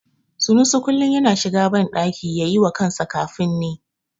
Sanusi kullum yana shiga banɗaki yayi wa kansa kafin ni.